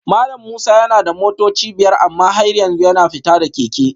Malam Musa yana da motoci biyar amma har yanzu yana fita da keke